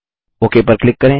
okay पर click करें